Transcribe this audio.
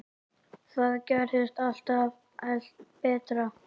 Þú gerðir alltaf allt betra.